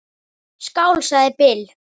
Skál, sagði Bill.